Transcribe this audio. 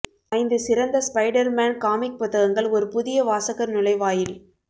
ஐந்து சிறந்த Spider Man comic புத்தகங்கள் ஒரு புதிய வாசகர் நுழைவாயில்